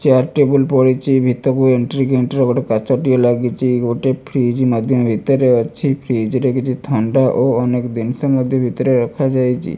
Chair table ପଡିଚି ଭିତରକୁ entry entry ହବାଟା କାଚଟିଏ ଲାଗିଚି ଗୋଟେ ଫ୍ରିଜ୍ ମଧ୍ଯ ଭିତରେ ଅଛି ଫ୍ରିଜ୍ ରେ କିଛି ଥଣ୍ଡା ଓ ଅନେକ ଦିନିଷ ମଧ୍ଯ ଭିତରେ ରଖାଯାଇଚି ।